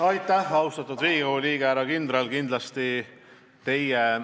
Aitäh, austatud Riigikogu liige, härra kindral!